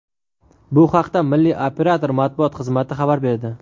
Bu haqda milliy operator matbuot xizmati xabar berdi .